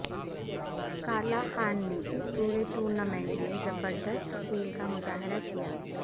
Carla Khan نے اس پورے ٹورنامنٹ میں زبر دست کھیل کا مظاہرہ کیا